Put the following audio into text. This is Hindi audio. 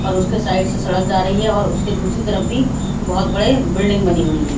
पर उसके साइड से सड़क जा रही है और उसकी दूसरी तरफ भी बहत बड़ी बिल्डिंग बनी हुई है।